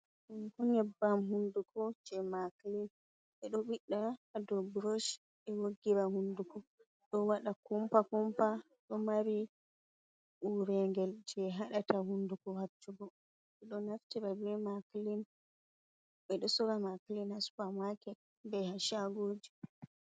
Nyebbam hunduko je maklin be do bidda hado brosh be woggira hunduko do wada kumpa kumpa do mari uregel je hadata hunduko haccugo edo naftira be maklin be do sora maklin ha supa maket be ha shagoji.